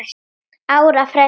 ára fresti.